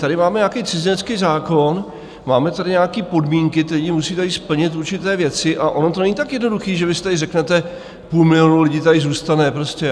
Tady máme nějaký cizinecký zákon, máme tady nějaké podmínky, ti lidi musí tady splnit určité věci, a ono to není tak jednoduché, že vy si tady řeknete, půl milionu lidí tady zůstane.